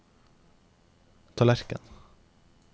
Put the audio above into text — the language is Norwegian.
tallerken